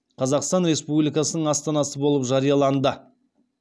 қазақстан республикасының астанасы болып жарияланды